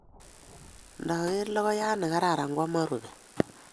Kindager logoyat ne kararan kwaman rubet.